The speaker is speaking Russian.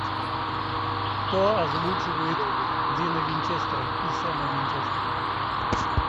кто озвучивает дина винчестера и сэма винчестера